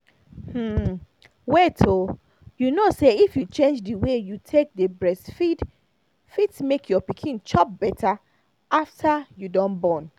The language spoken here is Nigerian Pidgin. wait oh you kow say if you change the way you take dey breastfeed fit make your pikin chop better after you don born